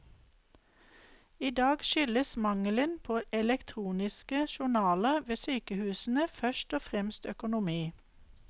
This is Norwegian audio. I dag skyldes mangelen på elektroniske journaler ved sykehusene først og fremst økonomi.